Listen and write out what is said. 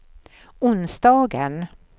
onsdagen